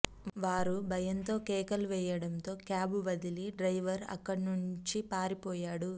వారు భయంతో కేకేలు వేయడంతో క్యాబ్ వదిలి డ్రైవర్ అక్కడ నుంచి పారిపోయాడు